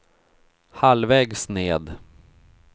halvvägs ned